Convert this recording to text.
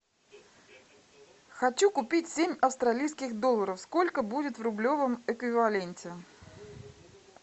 хочу купить семь австралийских долларов сколько будет в рублевом эквиваленте